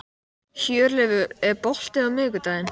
Hjörleifur, er bolti á miðvikudaginn?